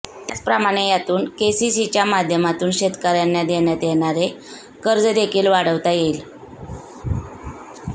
त्याचप्रमाणे यातून केसीसीच्या माध्यमातून शेतकऱ्यांना देण्यात येणारे कर्ज देखील वाढवता येईल